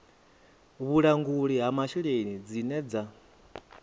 vhulanguli ha masheleni dzine dza